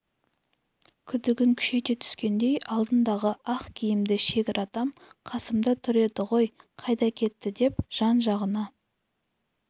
күдігін күшейте түскендей алдындағы ақ киімді шегір атам қасымда тұр еді ғой қайда кетті деп жан-жағына